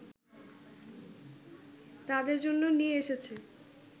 তাদের জন্য নিয়ে এসেছে